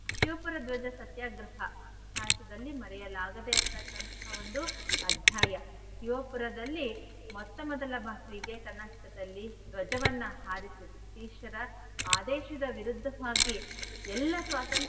Shivapura ಧ್ವಜ ಸತ್ಯಾಗ್ರಹ ಇತಿಹಾಸದಲ್ಲಿ ಮರೆಯಲಾಗದೆ ಇರ್ತಕ್ಕಂಥ ಒಂದು ಅಧ್ಯಾಯ. ಶಿವಪುರದಲ್ಲಿ ಮೊಟ್ಟ ಮೊದಲ ಬಾರಿಗೆ Karnataka ದಲ್ಲಿ ಧ್ವಜವನ್ನ ಹಾರಿಸಿದ್ರು. British ರ ಆದೇಶದ ವಿರುದ್ಧವಾಗಿ ಎಲ್ಲಾ ಸ್ವಾತಂತ್ರ್ಯ,